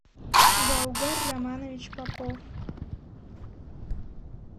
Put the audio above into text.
гаугар романович попов